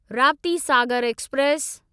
Raptisagar express